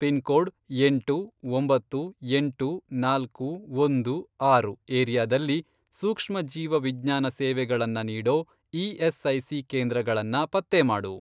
Pin code, ಎಂಟು, ಒಂಬತ್ತು, ಎಂಟು, ನಾಲ್ಕು, ಒಂದು, ಆರು, ಏರಿಯಾದಲ್ಲಿ, ಸೂಕ್ಷ್ಮ ಜೀವ ವಿಜ್ಞಾನ ಸೇವೆಗಳನ್ನ ನೀಡೋ ಇ.ಎಸ್.ಐ.ಸಿ. ಕೇಂದ್ರಗಳನ್ನ ಪತ್ತೆ ಮಾಡು.